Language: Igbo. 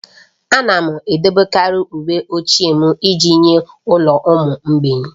Ana m edebekarị uwe ochie m iji nye ụlọ ụmụ mgbei.